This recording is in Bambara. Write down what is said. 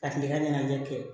Ka kile ka ɲɛnajɛ kɛ